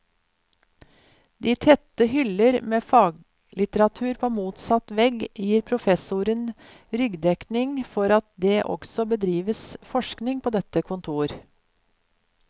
De tette hyller med faglitteratur på motsatt vegg, gir professoren ryggdekning for at det også bedrives forskning på dette kontor.